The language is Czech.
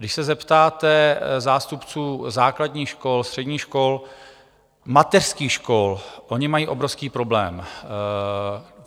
Když se zeptáte zástupců základních škol, středních škol, mateřských škol, oni mají obrovský problém.